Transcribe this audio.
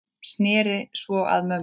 Sneri sér svo að mömmu.